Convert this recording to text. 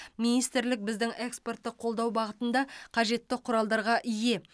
министрлік біздің экспортты қолдау бағытында қажетті құралдарға ие